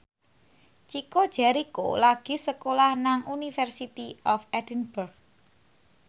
Chico Jericho lagi sekolah nang University of Edinburgh